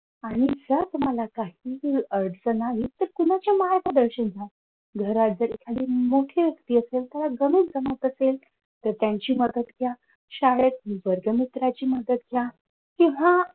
आणि तर तुम्हाला काहीही अडचण आली तर कोणाच्या मायेचा दर्शन घ्या घरात कोणी मोठे असेल कोणाला गणित जमत असेल तर त्यांची मदत घ्या. शाळेत वर्ग मित्राची मदत घ्या. किंवा